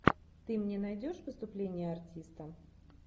ты мне найдешь выступление артиста